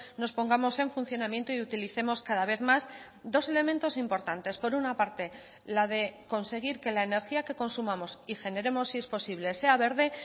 nos pongamos en funcionamiento y utilicemos cada vez más dos elementos importantes por una parte la de conseguir que la energía que consumamos y generemos si es posible sea verde